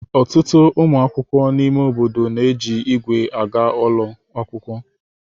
Ọtụtụ ụmụ akwụkwọ na ime obodo na-eji ígwè aga ụlọ akwụkwọ.